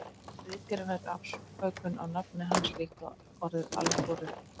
Nafn ritgerðarinnar er afbökun á nafni hans líkt og orðið algóritmi.